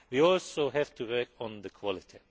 We also have to work on quality.